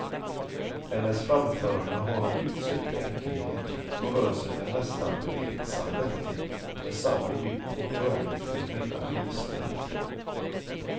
Hennes framföranden har en utsökt enkelhet och rör sig med en nästan retsam lätthet och med samma djup och skönhet över hela registret.